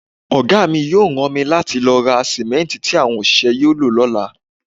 Ọ̀gá mi yóò rán mi láti lọ ra sìmẹ́ǹtì tí àwọn òṣìṣẹ́ yóò lò lọ́la.